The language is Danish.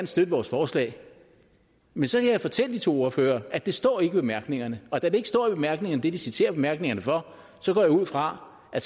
støtte vores forslag men så kan jeg fortælle de to ordførere at det ikke står i bemærkningerne og da det ikke står i bemærkningerne hvad de citerer bemærkningerne for så går jeg ud fra at